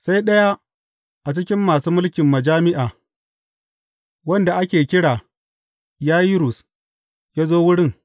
Sai ɗaya a cikin masu mulkin majami’a, wanda ake kira Yayirus ya zo wurin.